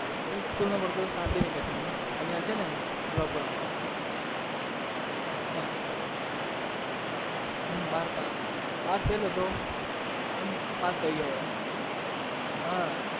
હું school માં ભણતો તો શાંતિ નિકેતનમાં અહિયાં છે ને જુહાપૂરામાં ત્યાં. બાર પાસ, બાર ફેલ હતો પાસ થઇ ગયો હવે હા